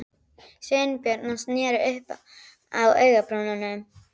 Sveinbjörn og sneri upp á augabrúnina.